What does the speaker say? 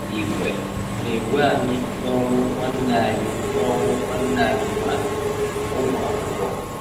Ị̀wẹ̀ na-ewe anyị n’ọnwụ́ nwanne anyị n’ọnwụ́ nwanne anyị nwanyị – Ụmụakwụkwọ.